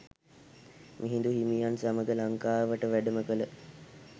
මිහිඳු හිමියන් සමඟ ලංකාවට වැඩම කළ